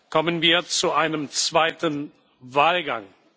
kommen wir zu einem zweiten Wahlgang.